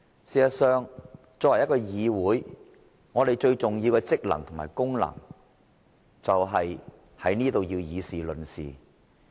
事實上，作為議會，立法會最重要的職能是議事論事。